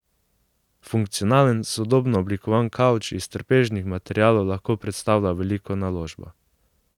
Funkcionalen, sodobno oblikovan kavč iz trpežnih materialov lahko predstavlja veliko naložbo.